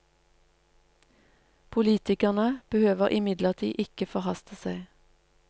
Politikerne behøver imidlertid ikke forhaste seg.